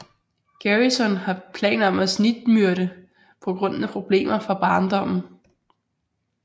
Garrison har planer om at snigmyrde på grund af problemer fra barndommen